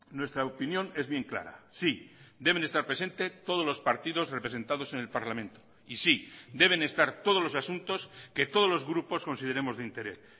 nuestra opinión es bien clara sí deben estar presente todos los partidos representados en el parlamento y sí deben estar todos los asuntos que todos los grupos consideremos de interés